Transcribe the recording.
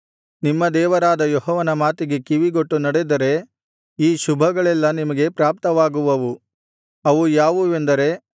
ನಿಮ್ಮ ದೇವರಾದ ಯೆಹೋವನ ಮಾತಿಗೆ ಕಿವಿಗೊಟ್ಟು ನಡೆದರೆ ಈ ಶುಭಗಳೆಲ್ಲಾ ನಿಮಗೆ ಪ್ರಾಪ್ತವಾಗುವವು ಅವು ಯಾವುವೆಂದರೆ